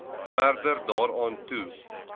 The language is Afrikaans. verder daaraan toe